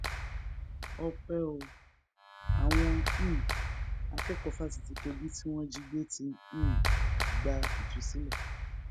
ọpẹ o àwọn um akẹkọọ fásitì kogi tí wọn jí gbé ti um gba ìtúsílẹ